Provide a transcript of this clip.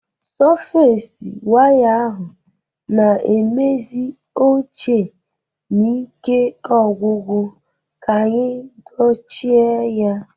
Sọfes waya ahụ na-emezi ochie na ike ogwugwu, ka anyị dochie ya